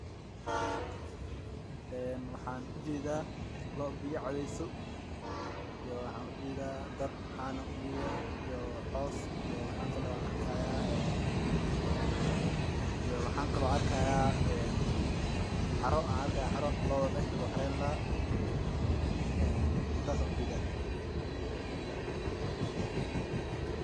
En waxan ujeda loo biya cabeyso iyo waxan ujeda, daar can ah iyo cos iyo waxan kale oo an arkaya xaro looda lagu xareyni lahaa, intas ayan ujedaa.